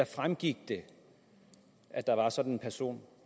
fremgik at der var sådan en person